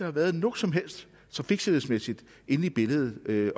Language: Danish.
har været noget som helst trafiksikkerhedsmæssigt inde i billedet med